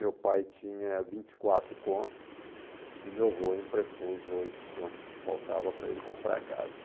Meu pai tinha vinte e quatro contos e meu avô emprestou os oito contos que faltava para ele comprar a casa.